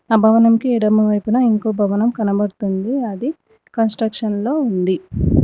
ఆ భవనంకి ఎడమ వైపున ఇంకొక భవనం కనబడుతుంది అది కన్స్ట్రక్షన్లో ఉంది.